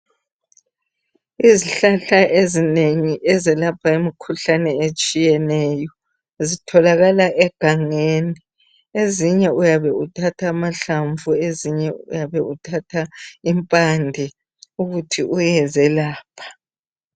Izihlahla ezinengi ezelapha imikhuhlane etshiyeneyo zitholakala egangeni ezinye uyabe uthatha amahlamvu ezinye uyabe uthatha impande ukuthi uyezelapha.